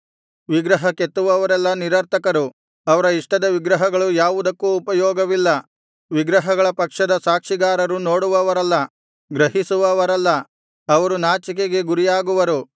ವಿಗ್ರಹ ಕೆತ್ತುವವರೆಲ್ಲಾ ನಿರರ್ಥಕರು ಅವರ ಇಷ್ಟದ ವಿಗ್ರಹಗಳು ಯಾವುದಕ್ಕೂ ಉಪಯೋಗವಿಲ್ಲ ವಿಗ್ರಹಗಳ ಪಕ್ಷದ ಸಾಕ್ಷಿಗಾರರು ನೋಡುವವರಲ್ಲ ಗ್ರಹಿಸುವವರಲ್ಲ ಅವರು ನಾಚಿಕೆಗೆ ಗುರಿಯಾಗುವರು